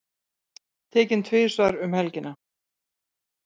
Tekinn tvisvar um helgina